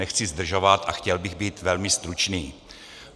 Nechci zdržovat a chtěl bych být velmi stručný.